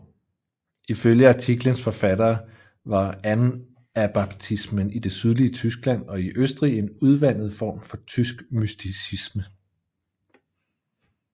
Ifølge artiklens forfattere var anabaptismen i det sydlige Tyskland og i Østrig en udvandet form for tysk mysticisme